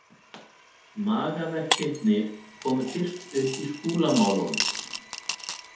Magaverkirnir komu fyrst upp í Skúlamálunum.